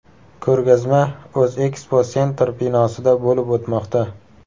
Ko‘rgazma O‘zeksposentr binosida bo‘lib o‘tmoqda.